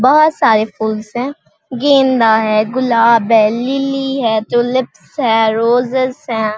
बहुत सारे फ़ूल्स है गेंदा है गुलाब है लिली है है रोजेज हैं ।